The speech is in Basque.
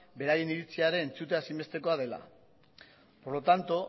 beraien iritzia ere entzutea ezinbestekoa dela por lo tanto